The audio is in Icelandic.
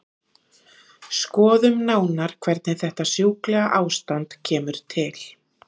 Skoðum nánar hvernig þetta sjúklega ástand kemur til.